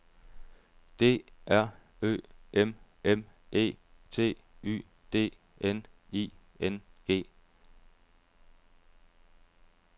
D R Ø M M E T Y D N I N G